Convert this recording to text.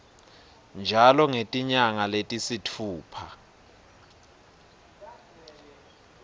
njalo ngetinyanga letisitfupha